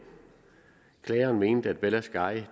klageren mente at bella sky